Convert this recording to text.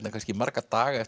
kannski marga daga eftir